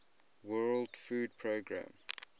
world food programme